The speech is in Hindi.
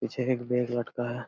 पीछे एक बेल लटका है।